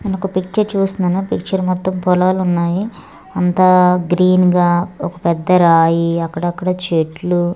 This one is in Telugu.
నేనొక పిక్చర్ చూస్తున్నాను పిక్చర్ మొత్తం పొలాలున్నాయి అంతా గ్రీన్ గా ఒక పెద్ద రాయి అక్కడక్కడ చెట్లు--